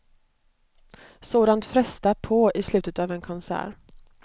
Sådant frestar på i slutet av en konsert.